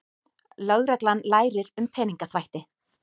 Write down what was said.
Lögreglan lærir um peningaþvætti